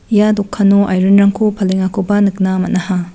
ia dokano airen rangko palengakoba nikna man·aha.